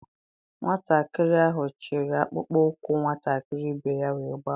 Nwatakịrị ahụ chịịrị akpụkpọ ụkwụ nwatakịrị ibe ya wee gbafuo.